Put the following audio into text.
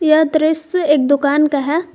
यह दृश्य एक दुकान का है।